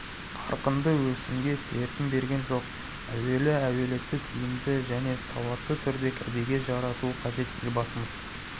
қарқынды өсімге серпін берген жоқ әуелі әлеуетті тиімді және сауатты түрде кәдеге жарату қажет елбасымыз